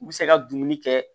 U bɛ se ka dumuni kɛ